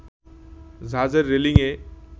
জাহাজের রেলিংএ